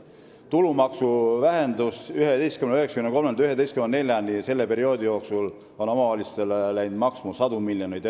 Tulubaasi vähendamine 11,93%-lt 11,4%-ni on selle perioodi jooksul omavalitsustele sadu miljoneid eurosid maksma läinud.